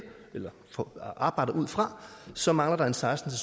og arbejder ud fra så mangler der seksten